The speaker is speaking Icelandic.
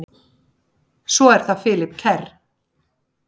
Svo er það Philip Kerr.